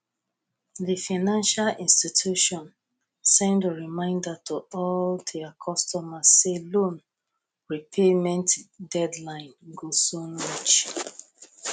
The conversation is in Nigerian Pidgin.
di financial institution send reminder to all their customers say loan repayment deadline go soon reach